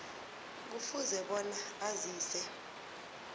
kufuze bona azise